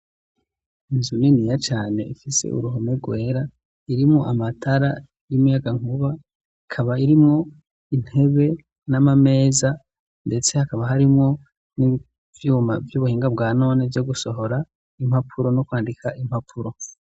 Inzu niniya cyane ifise uruhome rwera irimo amatara y'imiyagankuba ikaba irimo intebe n'amameza ndetse hakaba harimo n'ivyuma vy'ubuhinga bwa none byo gusohora impapuro no kwandika impapuro.